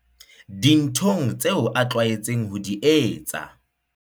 dinthong tseo a tlwaetseng ho di etsa.